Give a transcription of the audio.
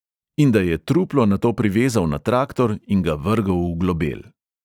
In da je truplo nato privezal na traktor in ga vrgel v globel.